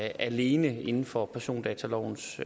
alene inden for persondatalovens